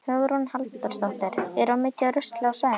Hugrún Halldórsdóttir: Er mikið af rusli á svæðinu?